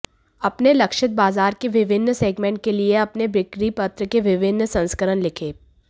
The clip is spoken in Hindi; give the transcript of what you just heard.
अपने लक्षित बाजार के विभिन्न सेगमेंट के लिए अपने बिक्री पत्र के विभिन्न संस्करण लिखें